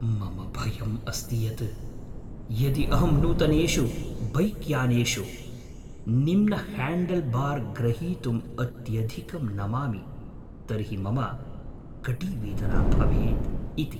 मम भयम् अस्ति यत् यदि अहं नूतनेषु बैक्यानेषु निम्नह्याण्डल्बार् ग्रहीतुम् अत्यधिकं नमामि तर्हि मम कटीवेदना भवेत् इति।